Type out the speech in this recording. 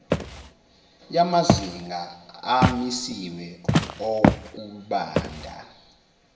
yamazinga amisiwe okubanda